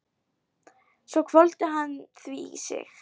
Svo hvolfdi hann því í sig.